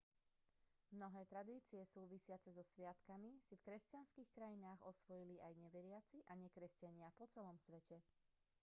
mnohé tradície súvisiace so sviatkom si v kresťanských krajinách osvojili aj neveriaci a nekresťania po celom svete